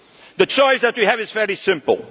my conclusion. The choice that you have is